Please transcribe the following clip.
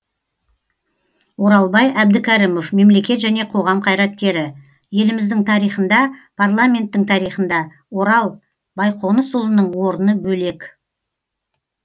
оралбай әбдікәрімов мемлекет және қоғам қайраткері еліміздің тарихында парламенттің тарихында орал байқонысұлының орны бөлек